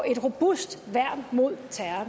et robust værn mod